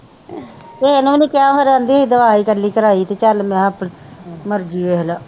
ਕਿਹੇ ਨੂੰ ਵੀ ਨਹੀਂ ਕਹਿਆ ਫਿਰ ਆਂਦੀ ਅਸੀ ਦੁਆ ਈ ਇਕੱਲੀ ਕਰਾਈ ਤੇ ਚਲ ਮੈ ਕਿਹਾ ਆਪਣੇ ਮਰਜੀ ਵੇਖਲਾ।